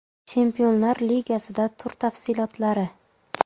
Chempionlar Ligasida tur tafsilotlari.